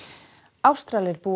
Ástralir búa